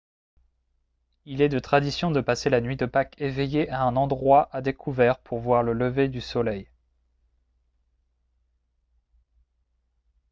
il est de tradition de passer la nuit de pâques éveillé à un endroit à découvert pour voir le lever du soleil